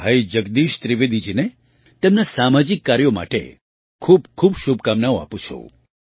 હું ભાઈ જગદીશ ત્રિવેદીજીને તેમનાં સામાજિક કાર્યો માટે ખૂબખૂબ શુભકામનાઓ આપું છું